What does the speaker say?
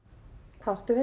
hvað áttu við